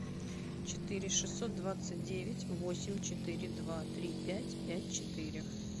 четыре шестьсот двадцать девять восемь четыре два три пять пять четыре